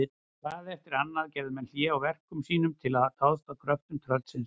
Hvað eftir annað gerðu menn hlé á verkum sínum til að dást að kröftum tröllsins.